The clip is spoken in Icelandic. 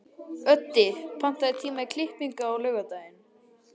Öddi, pantaðu tíma í klippingu á laugardaginn.